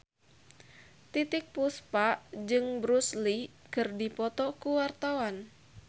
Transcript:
Titiek Puspa jeung Bruce Lee keur dipoto ku wartawan